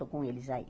Estou com eles aí.